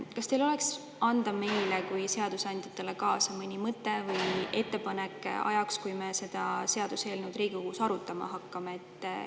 Kas teil oleks anda meile kui seadusandjatele kaasa mõni mõte või ettepanek ajaks, kui me seda seaduseelnõu Riigikogus arutama hakkame?